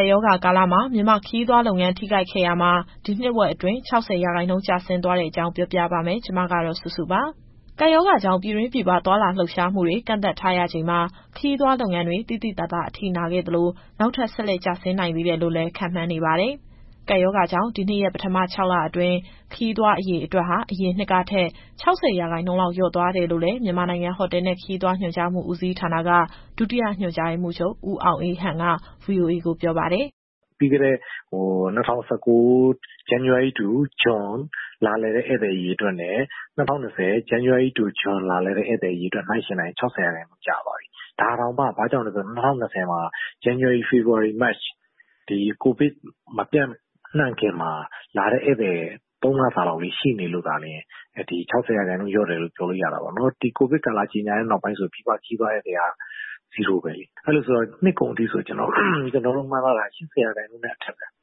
ပ်ရောဂါကာလမှာ မြန်မာ့ခရီးသွားလုပ်ငန်း ထိခိုက်ခဲ့ရာမှာ ဒီနှစ်ဝက်အတွင်း ၆၀ ရာခိုင်နှုန်း ကျဆင်းသွားတဲ့အကြောင်း ဗွီအိုအေမြန်မာပိုင်း သတင်းထောက်စုစုက ပြောပြပါမယ်။ ကပ်ရောဂါကြောင့် ပြည်တွင်းပြည်ပ သွားလာလှုပ်ရှားမှုတွေ ကန့်သတ်ထားရချိန်မှာ ခရီးသွား လုပ်ငန်းတွေ သိသိသာသာ အထိနာခဲ့သလို နောက်ထပ် ဆက်လက် ကျဆင်းနိုင်သေးတယ်လို့လည်း ခန့်မှန်းနေပါတယ်။ ကပ်ရောဂါကြောင့် ဒီနှစ်ရဲ့ ပထမ ၆ လအတွင်း ခရီးသွား အရေအတွက်ဟာ အရင်နှစ်ကထက် ၆၀ ရာခိုင်နှုန်းလောက် လျော့သွားတယ်လို့လည်း မြန်မာနိုင်ငံ ဟိုတယ်နဲ့ ခရီးသွားညွှန်ကြားမှု ဦးစီးဌာနက ဒုတိယ ညွှန်ကြားရေးမှူးချုပ် ဦးအောင်အေးဟန်က VOA ကိုပြောပါတယ်။ “ပြီးခဲ့တဲ့ ၂၀၁၉ ဇန်နဝါရီကနေ ဇွန်အထိ လာလည်တဲ့ ဧည့်သည်အရေအတွက်နဲ့ ၂၀၂၀ ဇန်နဝါရီကနေ ဇွန်အထိ လာလည်တဲ့ ဧည့်သည်အရေအတွက် နှိုင်းယှဉ်လိုက်ရင် ၆၀ ရာခိုင်နှုန်းကျသွားပြီ။ ဒါတောင်မှ ဘာကြောင့်လဲဆိုတော့ ၂၀၂၀မှာ ဇန်နဝါရီ - ဖေဖော်ဝါရီ - မတ် ဒီ ကိုဗစ်မပျံ့နှံ့ခင်မှာ လာတဲ့ဧည့်သည် ၃လစာလောက်လေး ရှိနေလို့သာ ၆၀ရာခိုင်နှုန်းလျှော့တယ်လို့ ပြောလို့ရတာပေါ့။ ဒီကိုဗစ်နောက်ပိုင်း ကြေညာတဲ့နောက်ဆို ပြည်ပခရီးသွား ဧည့်သည်က Zero ပဲလေ။ အဲလိုဆိုတော့ နှစ်ကုန်အထိဆို ကျနော်တို့မှန်းထားတာ ၈၀ ရာခိုင်နှုန်းနဲ့အထက်ပဲ လျှော့မှာ။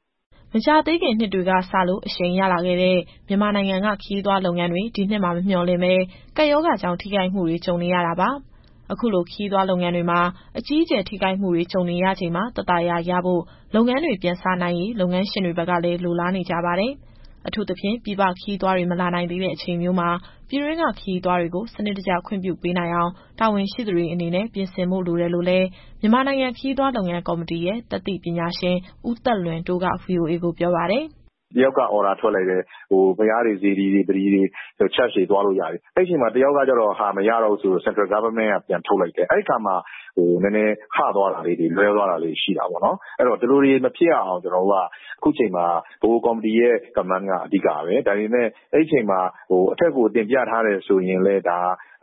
” မကြာသေးခင်နှစ်တွေကစလို့ အရှိန်ရလာခဲ့တဲ့ မြန်မာနိုင်ငံက ခရီးသွားလုပ်ငန်းတွေ ဒီနှစ်မှာ မမျှော်လင့်ပဲ ကပ်ရောဂါကြောင့် ထိခိုက်မှုတွေ ကြုံနေရတာပါ။ အခုလို ခရီးသွားလုပ်ငန်းတွေမှာ အကြီးအကျယ် ထိခိုက်မှုတွေ ကြုံနေရချိန်မှာ သက်သာရာရဖို့ လုပ်ငန်းတွေ ပြန်စနိုင်ရေး လုပ်ငန်းရှင်တွေဘက်ကလည်း လိုလားနေကြပါတယ်။ အထူးသဖြင့် ပြည်ပခရီးသွားတွေ မလာနိုင်သေးတဲ့အချိန်မျိုးမှာ ပြည်တွင်းက ခရီးသွားတွေကို စနစ်တကျ ခွင့်ပြုပေးနိုင်အောင် တာဝန်ရှိသူတွေအနေနဲ့ ပြင်ဆင်ဖို့ လိုတယ်လို့လည်း မြန်မာနိုင်ငံခရီးသွား လုပ်ငန်းကော်မတီရဲ့ တတ်သိပညာရှင် ဦးသက်လွင်တိုးက VOA ကိုပြောပါတယ်။ “တယောက်က အော်ဒါထွက်လိုက်တယ်။ ဘုရားတွေ၊ စေတီတွေ၊ ဗလီတွေ၊ Church တွေသွားလို့ရပြီ။ အဲ့အချိန်မှာ နောက်တယောက်က သွားလို့မရတော့ဘူးဆိုပြီး ဗဟိုအစိုးရက ပြန်ထုတ်လိုက်တယ်။ အဲဒီအခါမှာ ဟသွားတာလေးတွေ လွဲသွားတာလေးတွေ ရှိတာပေါ့နော်။ အဲတော့ ဒီလိုတွေ မဖြစ်ရအောင် ခုချိန်မှာ ဗဟိုကော်မတီရဲ့ မှတ်ချက်က အဓိကပဲ။ ဒါပေမယ့် အဲဒီအချိန်မှာ အထက်ကို တင်ပြထားတယ်ဆိုရင်လည်း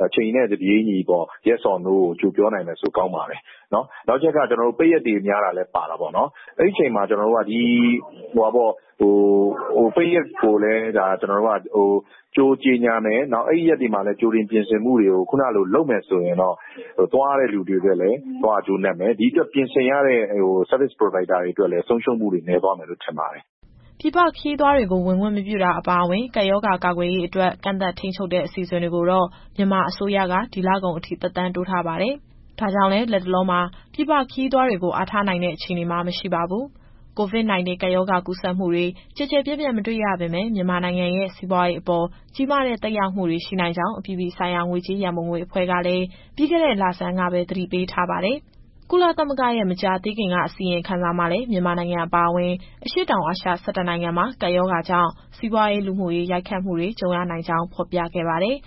အချိန်နဲ့တပြေးညီ Yes or No ကိုကြိုပြောနိုင်မယ်ဆိုရင် ကောင်းပါတယ်။ နောက်တချက်က ပိတ်ရက်တွေများတာလည်း ပါတာပေါ့။ အဲဒီအချိန်မှာ ကျနော်တို့က ဒီပိတ်ရက် ကိုလည်း ကြိုကြေညာမယ်။ နောက် အဲဒီရက်တွေမှာလည်း ကြိုတင်ပြင်ဆင်မှုတွေကို ခုနလို လုပ်မယ်ဆိုရင်တော့ သွားရတဲ့သူတွေအတွက်လည်း သွားရကျိုးနပ်မယ်။ ဒီအတွက် ပြင်ဆင်ရတဲ့ Service Provider တွေအတွက်လည်း ဆုံးရှုံးမှုတွေနည်းသွားမယ်လို့ ထင်ပါတယ်။” ပြည်ပခရီးသွားတွေကို ဝင်ခွင့်မပြုတာ အပါအဝင် ကပ်ရောဂါကာကွယ်ရေးအတွက် ကန့်သတ် ထိန်းချုပ်တဲ့ အစီအစဉ်တွေကိုတော့ မြန်မာအစိုးရက ဒီလကုန်အထိ သက်တမ်းတိုးထားပါတယ်။ ဒါကြောင့်လည်း လတ်တလောမှာ ပြည်ပခရီးသွားတွေကို အားထားနိုင်တဲ့ အခြေအနေမှာ မရှိပါဘူး။ COVID-19 ကပ်ရောဂါကူးစက်မှုတွေ ကျယ်ကျယ်ပြန့်ပြန့် မတွေ့ရပေမဲ့ မြန်မာနိုင်ငံရဲ့ စီးပွားရေးအပေါ် ကြီးမားတဲ့ သက်ရောက်မှုတွေ ရှိနိုင်ကြောင်း အပြည်ပြည်ဆိုင်ရာ ငွေကြေးရန်ပုံငွေအဖွဲ့ ကလည်း ပြီးခဲ့တဲ့လဆန်းကပဲ သတိပေးထားပါတယ်။ ကုလသမဂ္ဂရဲ့ မကြာသေးခင်က အစီရင်ခံစာမှာလည်း မြန်မာနိုင်ငံအပါအဝင် အရှေ့တောင်အာရှ ၁၁ နိုင်ငံမှာ ကပ်ရောဂါကြောင့် စီးပွားရေး၊ လူမှုရေး ရိုက်ခတ်မှုတွေ ကြုံရနိုင်ကြောင်း ဖော်ပြခဲ့ပါတယ်။